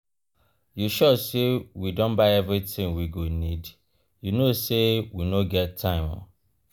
you sure say we don buy everything we go needyou no say we no get time.